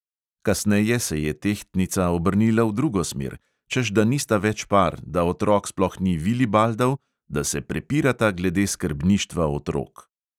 Kasneje se je tehtnica obrnila v drugo smer, češ da nista več par, da otrok sploh vilibaldov, da se prepirata glede skrbništva otrok.